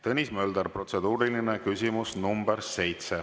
Tõnis Mölder, protseduuriline küsimus nr 7.